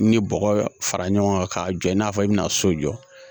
Ni bɔgɔ fara ɲɔgɔn kan k'a jɔ i n'a fɔ i bina so jɔ